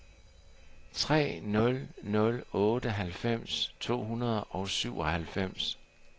tre nul nul otte halvfems to hundrede og syvoghalvfems